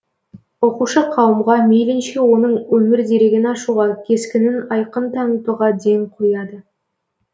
оқушықауымға мейлінше оның өмір дерегін ашуға кескінін айқын танытуға ден қояды